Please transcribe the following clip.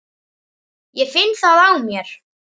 Ég finn það á mér.